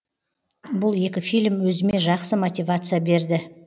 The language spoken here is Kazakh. бұл екі фильм өзіме жақсы мотивация берді